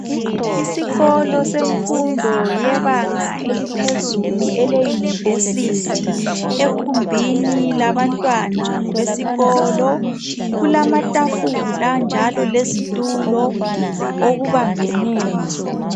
Isikolo semfundo yebanga eliphezulu, eleyunivesithi. Ekhumbini labantwana besikolo. Kulamatafula njalo lezitulo okubambaneyo.